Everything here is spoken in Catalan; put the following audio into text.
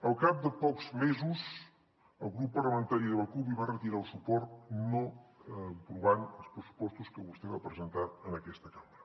al cap de pocs mesos el grup parlamentari de la cup li va retirar el suport no aprovant els pressupostos que vostè va presentar en aquesta cambra